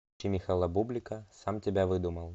включи михаила бублика сам тебя выдумал